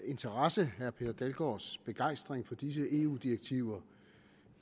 interesse herre per dalgaards begejstring for disse eu direktiver